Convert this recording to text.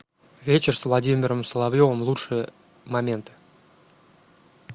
вечер с владимиром соловьевым лучшие моменты